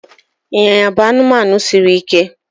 ịnyịnya bụ anụmanụ siri ike